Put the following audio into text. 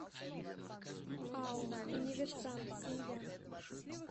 ао универсам семья